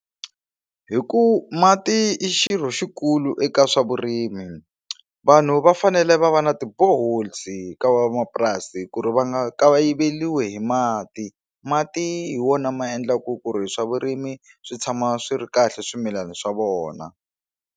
Hi ku mati i xirho xikulu eka swa vurimi vanhu va fanele va va na ti bore holes ka van'wamapurasi ku ri va nga kayiveliwi hi mati mati hi wona ma endlaku ku ri swa vurimi swi tshama swi ri kahle swimilana swa vona.